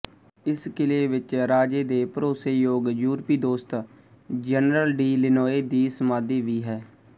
ਇਸ ਕਿਲੇ ਵਿੱਚ ਰਾਜੇ ਦੇ ਭਰੋਸੇਯੋਗ ਯੂਰਪੀ ਦੋਸਤ ਜਨਰਲ ਡੀ ਲਿਨੋਏ ਦੀ ਸਮਾਧੀ ਵੀ ਹੈ